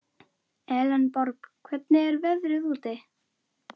Elenborg, hvernig er veðrið úti?